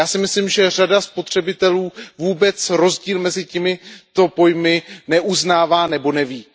Já si myslím, že řada spotřebitelů vůbec rozdíl mezi těmito pojmy neuznává nebo o něm neví.